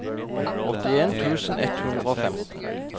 åttien tusen ett hundre og femten